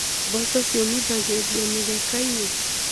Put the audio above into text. Mboco ciũmithagĩrio mĩgeka-inĩ.